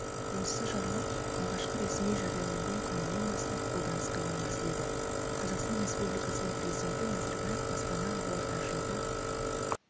осы жарлық алғашқы ресми жарияланған күнінен бастап қолданысқа енгізіледі қазақстан республикасының президенті назарбаев астана ақорда жылғы